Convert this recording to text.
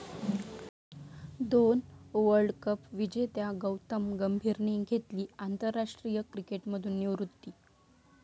दोन world cup विजेत्या गौतम गंभीरने घेतली आंतरराष्ट्रीय क्रिकेटमधून निवृत्ती